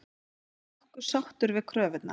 Nokkuð sáttur við kröfurnar